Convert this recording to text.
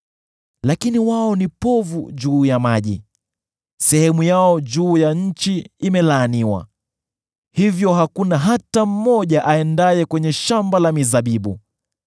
“Lakini wao ni povu juu ya maji; sehemu yao juu ya nchi imelaaniwa, hivyo hakuna hata mmoja aendaye kwenye shamba la mizabibu.